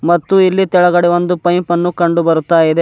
ಮತ್ತು ಇಲ್ಲಿ ತೆಳಗಡೆ ಒಂದು ಪೈಪನ್ನು ಕಂಡು ಬರುತ್ತಾ ಇದೆ.